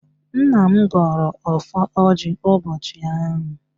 Nna m gọrọ ọfọ ọjị ụbọchị ahụ